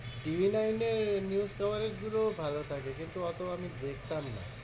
TVnine এর news coverage গুলোও ভালো থাকে কিন্তু অতো আমি দেখতাম না।